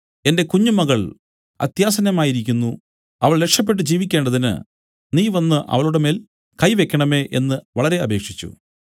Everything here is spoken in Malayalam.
എന്റെ കുഞ്ഞുമകൾ അത്യാസന്നമായി ഇരിക്കുന്നു അവൾ രക്ഷപെട്ട് ജീവിക്കേണ്ടതിന് നീ വന്നു അവളുടെമേൽ കൈ വെയ്ക്കേണമേ എന്നു വളരെ അപേക്ഷിച്ചു